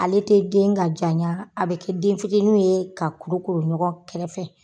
Ale te den ka jaɲa, a bɛ kɛ den fitininw ye ka kudukuru ɲɔgɔn kɛrɛfɛ